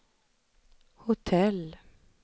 hotell